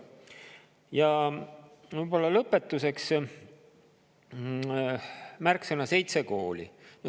Ja lõpetuseks märksõna "seitse kooli".